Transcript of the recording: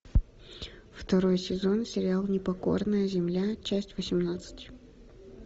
второй сезон сериал непокорная земля часть восемнадцать